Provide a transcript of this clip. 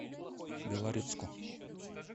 белорецку